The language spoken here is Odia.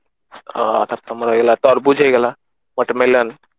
ଆଁ ତମର ହେଇଗଲା ତରଭୁଜ ହେଇଗଲା watermelon